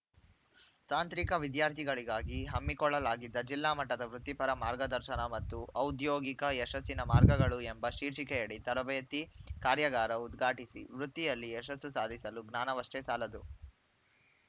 ತಾಂತ್ರಿಕ ವಿದ್ಯಾರ್ಥಿಗಳಿಗಾಗಿ ಹಮ್ಮಿಕೊಳ್ಳಲಾಗಿದ್ದ ಜಿಲ್ಲಾ ಮಟ್ಟದ ವೃತ್ತಿಪರ ಮಾರ್ಗದರ್ಶನ ಮತ್ತು ಔದ್ಯೋಗಿಕ ಯಶಸ್ಸಿನ ಮಾರ್ಗಗಳು ಎಂಬ ಶೀರ್ಷಿಕೆಯಡಿ ತರಬೇತಿ ಕಾರ್ಯಾಗಾರ ಉದ್ಘಾಟಿಸಿ ವೃತ್ತಿಯಲ್ಲಿ ಯಶಸ್ಸು ಸಾಧಿಸಲು ಜ್ಞಾನವಷ್ಟೇ ಸಾಲದು